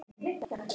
Elskum þig.